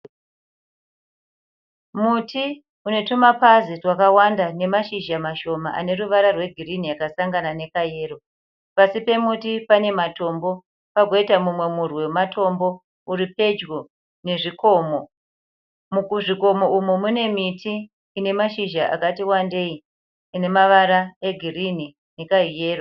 Muti une tumapazi twakawanda nemashizha mashoma ane ruvara rwegirini yakasangana nekayero. Pasi pemuti pane matombo pagoita mumwe murwi wematombo uri pedyo nezvikomo. Muzvikomo umu mune miti ine mashizha akati wandei ine mavara egirinhi nekahuyero.